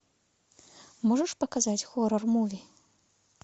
можешь показать хоррор муви